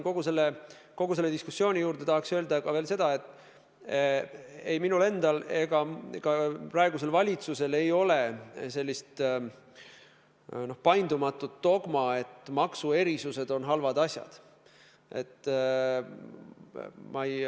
Kogu selle diskussiooni juurde tahaks öelda ka seda, et ei minul endal ega ka praegusel valitsusel ei ole sellist paindumatut dogmat, et maksuerisused on halvad asjad.